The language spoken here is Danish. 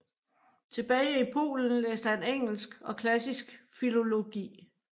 Tilbage i Polen læste han engelsk og klassisk filologi